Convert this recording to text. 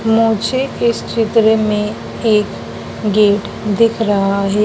मुझे इस चित्र में एक गेट दिख रहा है।